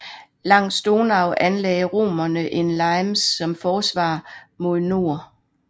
Langs Donau anlagde romerne en limes som forsvar mod nord